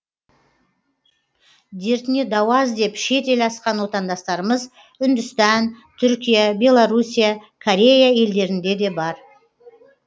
дертіне дауа іздеп шет ел асқан отандастарымыз үндістан түркия беларусия корея елдерінде де бар